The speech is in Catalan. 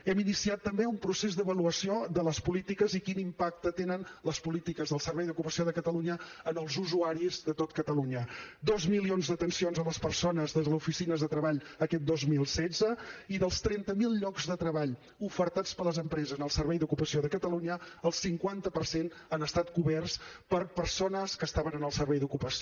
hem iniciat també un procés d’avaluació de les polítiques i quin impacte tenen les polítiques del servei d’ocupació de catalunya en els usuaris de tot catalunya dos milions d’atencions a les persones des de les oficines de treball aquest dos mil setze i dels trenta mil llocs de treball ofertats per les empreses en el servei d’ocupació de catalunya el cinquanta per cent han estat coberts per persones que estaven en el servei d’ocupació